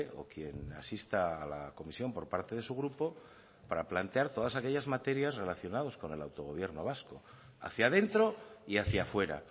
o quien asista a la comisión por parte de su grupo para plantear todas aquellas materias relacionadas con el autogobierno vasco hacia dentro y hacia fuera